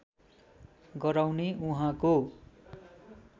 गराउने उहाँको